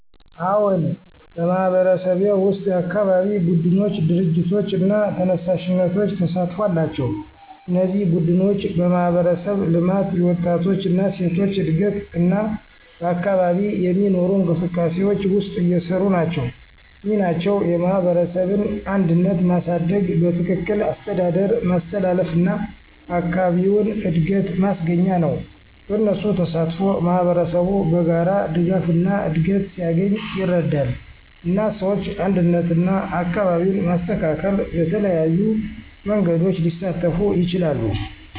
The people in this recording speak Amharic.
አዎን፣ በማህበረሰብዬ ውስጥ የአካባቢ ቡድኖች፣ ድርጅቶች እና ተነሳሽነቶች ተሳትፎ አላቸው። እነዚህ ቡድኖች በማህበረሰብ ልማት፣ የወጣቶች እና ሴቶች እድገት እና በአካባቢ የሚኖሩ እንቅስቃሴዎች ውስጥ እየሰሩ ናቸው። ሚናቸው የማህበረሰብን አንድነት ማሳደግ፣ በትክክል አስተዳደር ማስተላለፍ እና አካባቢውን እድገት ማስገኛ ነው። በእነሱ ተሳትፎ ማህበረሰቡ በጋራ ድጋፍና እድገት ሲያገኝ ይረዳል፣ እና ሰዎች አንድነትና አካባቢን ማስተካከል በተለያዩ መንገዶች ሊሳተፉ ይችላሉ።